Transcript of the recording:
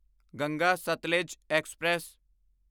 Ganga Sutlej express